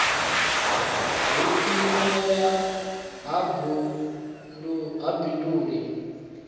hu vhuimeli ha bindu ḽi